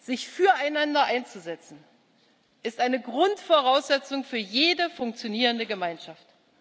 Sich füreinander einzusetzen ist eine Grundvoraussetzung für jede funktionierende Gemeinschaft.